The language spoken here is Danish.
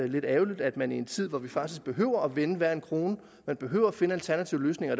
lidt ærgerligt at man i en tid hvor vi faktisk behøver at vende hver en krone behøver at finde alternative løsninger